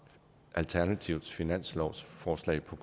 alternativets finanslovsforslag på